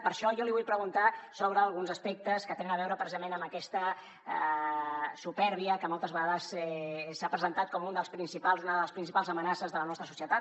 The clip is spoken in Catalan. per això jo li vull preguntar sobre alguns aspectes que tenen a veure precisament amb aquesta supèrbia que moltes vegades s’ha presentat com una de les principals amenaces de la nostra societat